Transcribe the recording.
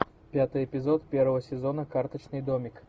пятый эпизод первого сезона карточный домик